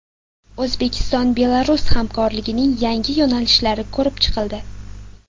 O‘zbekiston-Belarus hamkorligining yangi yo‘nalishlari ko‘rib chiqildi.